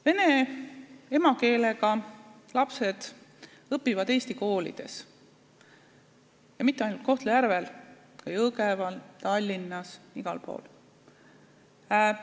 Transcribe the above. Vene emakeelega lapsed õpivad eesti koolis ja mitte ainult Kohtla-Järvel, vaid ka Jõgeval, Tallinnas, igal pool.